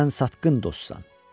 Sən satqın dostsan.